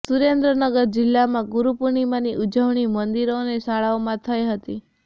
સુરેન્દ્રનગર જિલ્લામાં ગુરૂ પૂર્ણિમાંની ઉજવણી મંદિરો અને શાળાઓમાં થઈ હતી